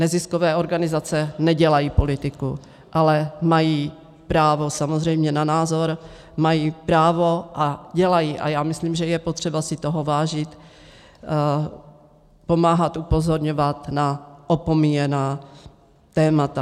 Neziskové organizace nedělají politiku, ale mají právo samozřejmě na názor, mají právo a dělají a já myslím, že je potřeba si toho vážit, pomáhat upozorňovat na opomíjená témata.